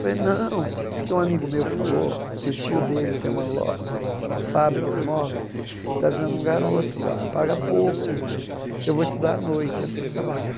Falei, não, é que um amigo meu falou que o tio dele tem uma lo uma loja, uma fábrica de móveis, está precisando de um garoto lá, paga pouco, mas eu vou estudar à noite, eu preciso trabalhar.